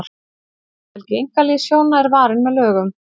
friðhelgi einkalífs hjóna er varin með lögum